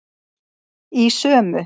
Í sömu